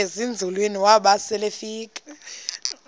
ezinzulwini waba selefika